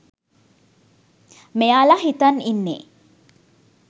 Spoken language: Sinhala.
මෙයාල හිතන් ඉන්නේ.